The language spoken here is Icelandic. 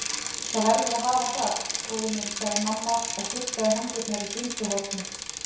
Það verður að hafa það, góði minn sagði mamma og þurrkaði hendurnar í svuntuhornið.